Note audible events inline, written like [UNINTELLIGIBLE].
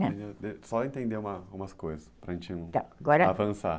[UNINTELLIGIBLE] Só entender umas coisas, para a gente avançar.